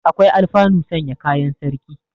Akwai alfanu sanya kayan sarki.